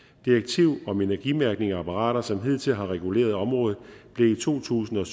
direktiv om energimærkning af apparater som hidtil har reguleret området blev i to tusind og